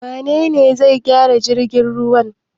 Wane ne zai gyara jirgin ruwa?